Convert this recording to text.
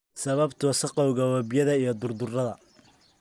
Sababta wasakhowga webiyada iyo durdurrada.